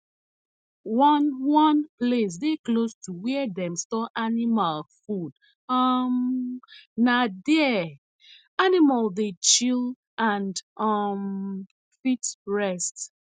one one place dey close to where dem store animal food um na there animals dey chill and um fit rest